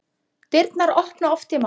Dyrnar opna oft ég má.